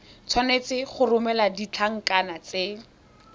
tshwanetse go romela ditlankana tse